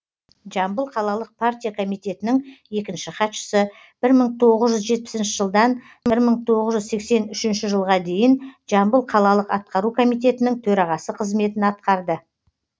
жамбыл қалалық партия комитетінің екінші хатшысы бір мың тоғыз жүз жетпісінші жылдан бір мың тоғыз жүз сексен үшінші жылға дейін жамбыл қалалық атқару комитетінің төрағасы қызметін атқарды